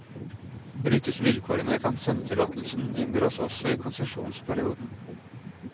Brytes vilkårene, kan sendetillatelsen inndras også i konsesjonsperioden.